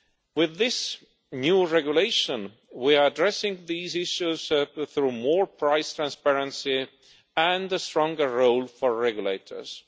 With this new regulation, we are addressing these issues through more price transparency and a stronger role for regulators.